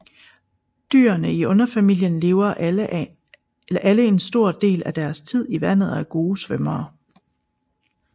Dyrene i underfamilien lever alle en stor del af deres tid i vandet og er gode svømmere